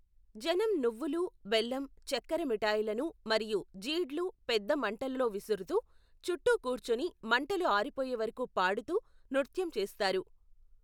జనం నువ్వులు, బెల్లం, చక్కెర మిఠాయిలను మరియు జీడ్లు పెద్ద మంటలో విసురుతూ, చుట్టూ కూర్చుని, మంటలు ఆరిపోయే వరకు పాడుతూ, నృత్యం చేస్తారు.